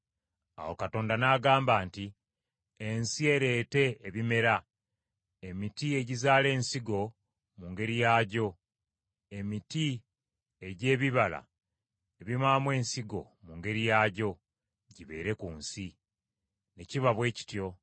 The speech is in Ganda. Awo Katonda n’agamba nti, “Ensi ereete ebimera: emiti egizaala ensigo mu ngeri yaagyo, emiti egy’ebibala ebibaamu ensigo mu ngeri yaagyo, gibeere ku nsi.” Ne kiba bwe kityo.